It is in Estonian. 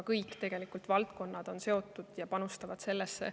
Kõik valdkonnad on sellega seotud ja panustavad sellesse.